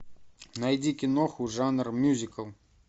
найди киноху жанр мюзикл